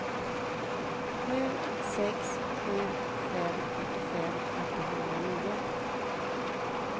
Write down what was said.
sju sex sju fem åttiofem åttahundranio